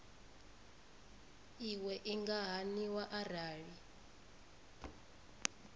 iwe i nga haniwa arali